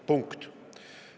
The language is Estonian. Punkt.